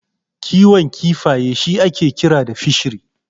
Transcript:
Kiwon kifaye shi ake kira da Fishery.